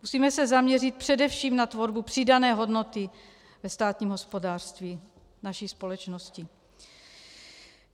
Musíme se zaměřit především na tvorbu přidané hodnoty ve státním hospodářství naší společnosti.